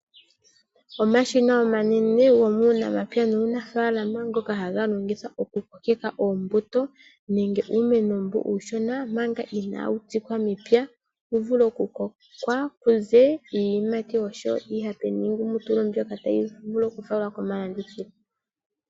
Omashina omanene gomuunamapya nuunafaalama ngoka haga longithwa okukokeka oombuto nenge uumeno uushona, manga inaawu tsikwa mepya wuvule okukoka kuze iiyimati oshowo iihape niingumutulu ndyoka tayi vulu okufalwa komalandithilo.